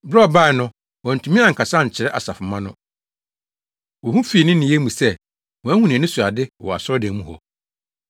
Bere a ɔbae no, wantumi ankasa ankyerɛ asafomma no. Wohu fii ne nneyɛe mu sɛ wahu nʼani so ade wɔ asɔredan mu hɔ.